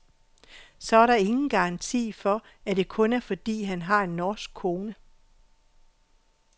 Så er der ingen garanti for, at det kun er fordi han har en norsk kone.